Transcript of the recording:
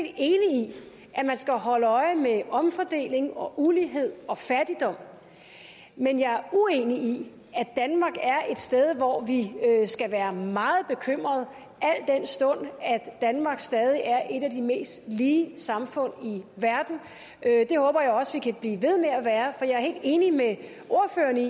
at man skal holde øje med omfordeling og ulighed og fattigdom men jeg er uenig i at danmark er et sted hvor vi skal være meget bekymret al den stund at danmark stadig er et af de mest lige samfund i verden det håber jeg også at vi kan blive ved med at være for jeg er helt enig med ordføreren i